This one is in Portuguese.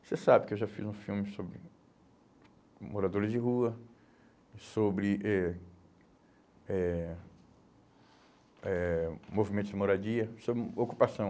Você sabe que eu já fiz um filme sobre moradores de rua, sobre eh eh eh movimentos de moradia, sobre ocupação.